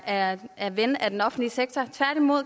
er er ven af den offentlige sektor